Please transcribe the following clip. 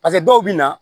dɔw bɛ na